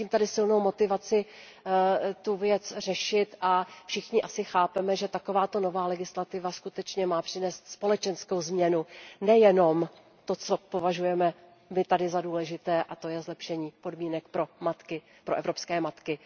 Cítím tady silnou motivaci tu věc řešit a všichni asi chápeme, že takováto nová legislativa má skutečně přinést společenskou změnu, nejenom to, co my tady považujeme za důležité, a to je zlepšení podmínek pro evropské matky.